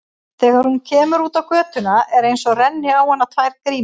Þegar hún kemur út á götuna er einsog renni á hana tvær grímur.